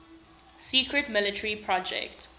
secret military project